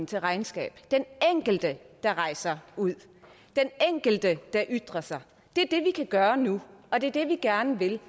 til regnskab den enkelte der rejser ud den enkelte der ytrer sig det er det vi kan gøre nu og det er det vi gerne vil